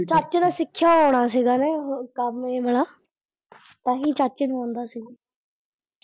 ਚਾਚੇ ਨੇ ਸਿੱਖਿਆ ਹੋਣਾ ਸੀਗਾ ਨਾ ਇਹ ਕੰਮ ਇਹ ਵਾਲਾ, ਤਾਂਹੀ ਚਾਚੇ ਨੂੰ ਆਉਂਦਾ ਸੀ।